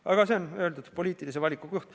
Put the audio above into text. Aga see on, nagu öeldud, poliitilise valiku koht.